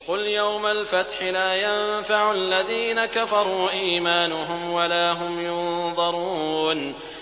قُلْ يَوْمَ الْفَتْحِ لَا يَنفَعُ الَّذِينَ كَفَرُوا إِيمَانُهُمْ وَلَا هُمْ يُنظَرُونَ